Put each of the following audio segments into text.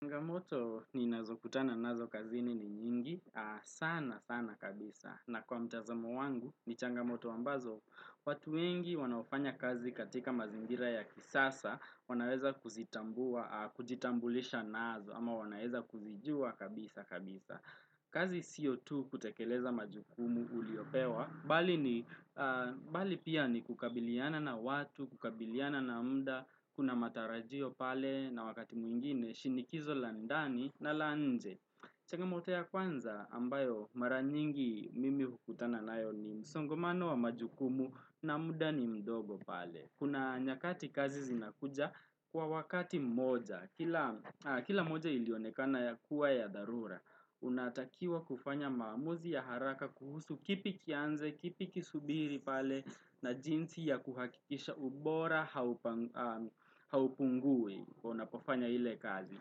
Changamoto ni nazo kutana nazo kazini ni nyingi, sana sana kabisa. Na kwa mtazamo wangu, ni changamoto ambazo, watu wengi wanaofanya kazi katika mazingira ya kisasa, wanaweza kuzitambua, kujitambulisha nazo, ama wanaweza kuzijua kabisa kabisa. Kazi sio tu kutekeleza majukumu uliyopewa, bali ni, bali pia ni kukabiliana na watu, kukabiliana na mda, Kuna matarajio pale na wakati mwingine, shinikizo la ndani na la nje changamoto ya kwanza ambayo maraningi mimi hukutana nayo ni msongomano wa majukumu na muda ni mdogo pale Kuna nyakati kazi zinakuja kwa wakati mmoja, kila moja ilionekana ya kuwa ya dharura Unatakiwa kufanya maamuzi ya haraka kuhusu kipi kianze kipi kisubiri pale na jinsi ya kuhakisha ubora haupungui unapofanya ile kazi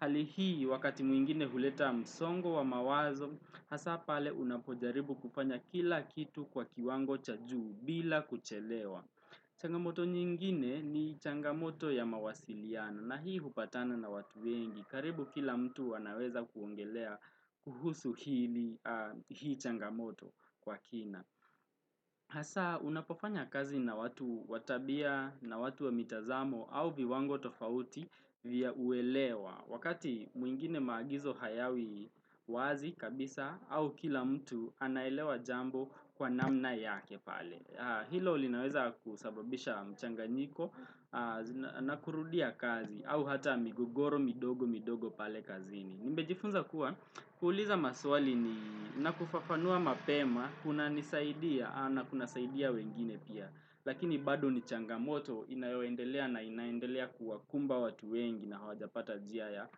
Hali hii wakati mwingine huleta msongo wa mawazo hasa pale unapojaribu kufanya kila kitu kwa kiwango cha juu bila kuchelewa changamoto nyingine ni changamoto ya mawasiliano na hii hupatana na watu wengi karibu kila mtu wanaweza kuongelea kuhusu hili hii changamoto kwa kina Hasa unapofanya kazi na watu watabia na watu wa mitazamo au viwango tofauti vya uelewa Wakati mwingine maagizo hayawi wazi kabisa au kila mtu anaelewa jambo kwa namna yake pale Hilo linaweza kusababisha mchanganyiko na kurudia kazi au hata migogoro midogo midogo pale kazini. Nimejifunza kuwa, kuuliza maswali ni nakufafanua mapema, kuna nisaidia na kuna saidia wengine pia. Lakini bado ni changamoto inayoendelea na inaendelea kuwa kumba watu wengi na hawajapata njia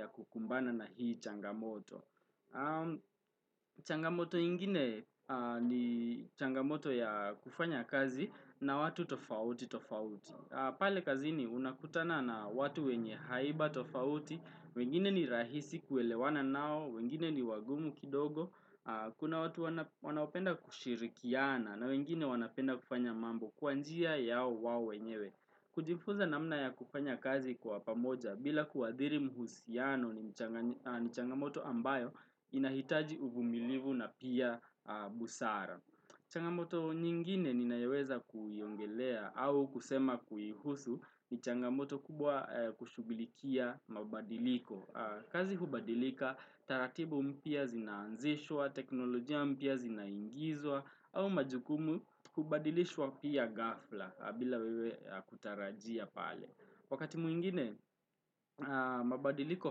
ya kukumbana na hii changamoto. Changamoto ingine ni changamoto ya kufanya kazi na watu tofauti tofauti pale kazini unakutana na watu wenye haiba tofauti wengine ni rahisi kuelewana nao, wengine ni wagumu kidogo Kuna watu wanaopenda kushirikiana na wengine wanapenda kufanya mambo Kwa njia yao wao wenyewe kujifunza namna ya kufanya kazi kwa pamoja bila kuadhiri mhusiano ni changamoto ambayo Inahitaji uvumilivu na pia busara changamoto nyingine ninayoweza kuiongelea au kusema kuihusu ni changamoto kubwa kushughulikia mabadiliko kazi hubadilika taratibu mpya zinaanzishwa, teknolojia mpya zinaingizwa au majukumu hubadilishwa pia ghafla bila wewe kutarajia pale Wakati mwingine, mabadiliko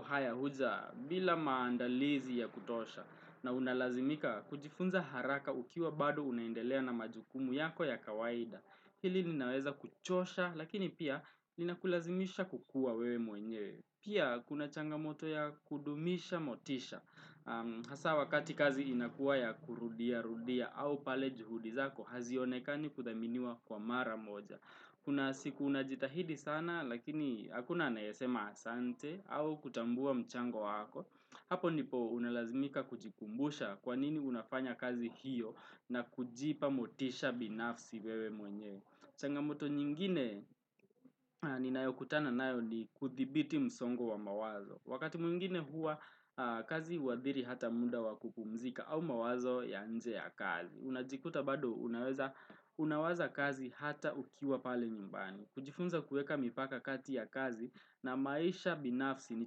haya huja bila maandalizi ya kutosha na unalazimika kujifunza haraka ukiwa bado unaendelea na majukumu yako ya kawaida. Hili linaweza kuchosha lakini pia inakulazimisha kukuwa wewe mwenye. Pia kuna changamoto ya kudumisha motisha. Hasa wakati kazi inakuwa ya kurudia rudia au pale juhudizako hazionekani kudhaminiwa kwa mara moja. Kuna siku unajitahidi sana lakini hakuna anayesema asante au kutambua mchango wako. Hapo ndipo unalazimika kujikumbusha kwanini unafanya kazi hiyo na kujipa motisha binafsi wewe mwenyewe. Changamoto nyingine ninayokutana nayo ni kudhibiti msongo wa mawazo. Wakati mwingine huwa kazi huadhiri hata muda wa kupumzika au mawazo ya nje ya kazi. Unajikuta bado unaweza, unawaza kazi ata ukiwa pale nyumbani kujifunza kuweka mipaka kati ya kazi na maisha binafsi ni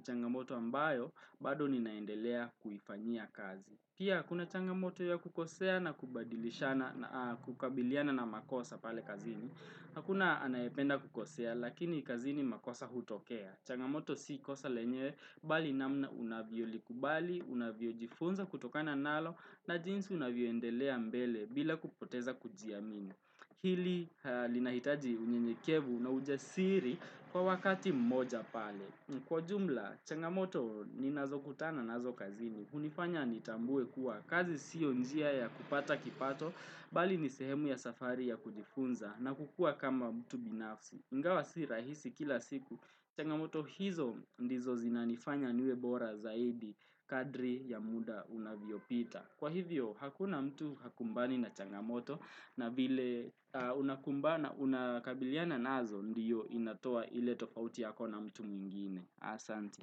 changamoto ambayo bado ninaendelea kuifanyia kazi Pia kuna changamoto ya kukosea na kubadilishana na kukabiliana na makosa pale kazini Hakuna anayependa kukosea lakini kazini makosa hutokea changamoto si kosa lenyewe bali namna unavyo likubali unavyo jifunza kutokana nalo na jinsi unavyo endelea mbele bila kupoteza kujiamini. Hili linahitaji unyenyekevu na ujasiri kwa wakati mmoja pale. Kwa ujumla, changamoto ni nazo kutana nazo kazini. Unifanya nitambue kuwa kazi sio njia ya kupata kipato, bali ni sehemu ya safari ya kujifunza na kukua kama mtu binafsi. Ingawa si rahisi kila siku, changamoto hizo ndizo zinanifanya niwe bora zaidi kadri ya muda unavyo pita. Kwa hivyo, hakuna mtu hakumbani na changamoto na vile unakumbana unakabiliana nazo, ndiyo inatoa ile tofauti yako na mtu mwingine. Asanti.